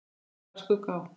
Aldrei bar skugga á.